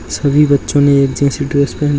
सभी बच्चो ने एक जैसी ड्रेस पेहेन --